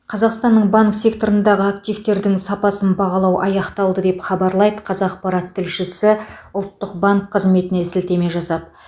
қазақстанның банк секторындағы активтердің сапасын бағалау аяқталды деп хабарлайды қазақпарат тілшісі ұлттық банк қызметіне сілтеме жасап